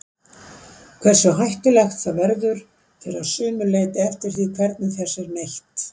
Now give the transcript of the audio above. Hversu hættulegt það verður fer að sumu leyti eftir því hvernig þess er neytt.